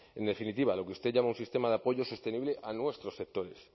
en definitiva lo que usted llama un sistema de apoyo sostenible a nuestros sectores